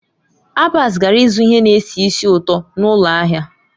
Abbas gara ịzụ ihe na-esi ísì ụtọ n'ụlọ ahịa.